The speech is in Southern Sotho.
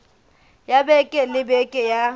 ya beke le beke ya